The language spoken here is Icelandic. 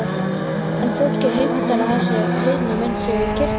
En fólkið heimtar að þessi heiðna mynd sé í kirkjunni.